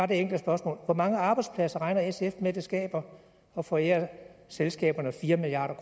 det enkle spørgsmål hvor mange arbejdspladser regner sf med at det skaber at forære selskaberne fire milliard